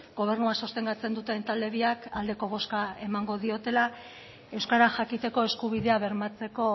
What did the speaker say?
gobernua sostengatzen duten talde biak aldeko bozka emango diotela euskara jakiteko eskubidea bermatzeko